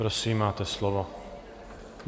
Prosím, máte slovo.